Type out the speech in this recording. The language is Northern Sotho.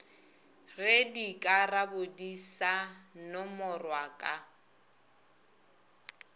ge dikarabodi sa nomorwa ka